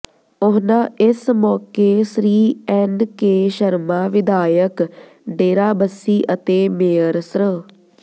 ਉਨ੍ਹਾਂ ਇਸ ਮੌਕੇ ਸ੍ਰੀ ਐਨ ਕੇ ਸ਼ਰਮਾ ਵਿਧਾਇਕ ਡੇਰਾਬੱਸੀ ਅਤੇ ਮੇਅਰ ਸ੍ਰ